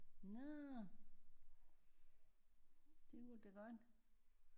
Nårh det kunne det da godt